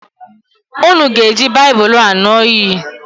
Unu ga-eji Baịbụlụ a ñụọ iyi!